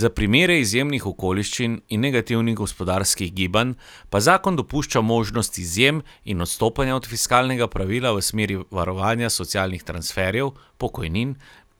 Za primere izjemnih okoliščin in negativnih gospodarskih gibanj pa zakon dopušča možnost izjem in odstopanja od fiskalnega pravila v smeri varovanja socialnih transferjev, pokojnin